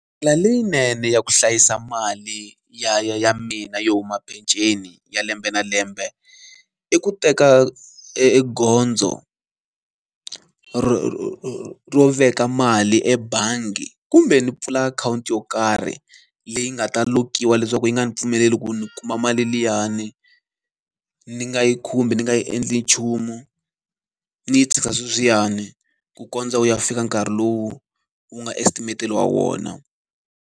Ndlela leyinene ya ku hlayisa mali ya ya ya mina yo huma peceni ya lembe na lembe, i ku teka e e gondzo ro veka mali ebangi kumbe ni pfula akhawunti yo karhi leyi nga ta lokiwa leswaku yi nga ndzi pfumeleli ku ni kuma mali liyani. Ni nga yi khumbi, ni nga yi endli nchumu, ni yi tshikisa swewiyani ku kondza wu ya fika nkarhi lowu wu nga estimateriwa wona.